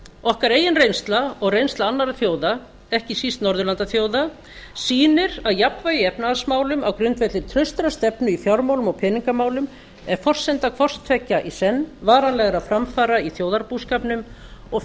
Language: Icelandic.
okkar eigin reynsla og reynsla annarra þjóða ekki síst norðurlandaþjóða sýnir að jafnvægi í efnahagsmálum á grundvelli traustrar stefnu í fjármálum og peningamálum er forsenda hvors tveggja í senn varanlegra framfara í þjóðarbúskapnum og